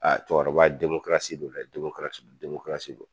cɛkɔrɔba don dɛ don